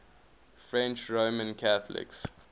french roman catholics